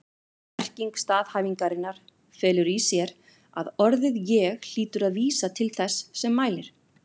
Merking staðhæfingarinnar felur í sér að orðið ég hlýtur að vísa til þess sem mælir.